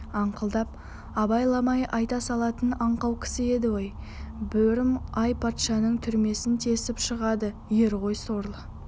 аңқылдақ абайламай айта салатын аңқау кісі еді ой бөрім-ай патшаның түрмесін тесіп шығады ер ғой сорлы